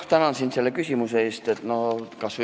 Tänan sind selle küsimuse eest!